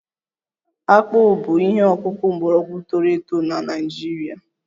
Akpụ bụ ihe ọkụkụ mgbọrọgwụ toro eto na Naịjirịa